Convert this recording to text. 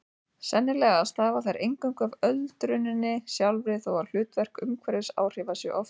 Sennilega stafa þær eingöngu af öldruninni sjálfri þó að hlutverk umhverfisáhrifa sé oft óljóst.